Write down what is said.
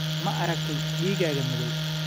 Ma aragtay digaaga madow?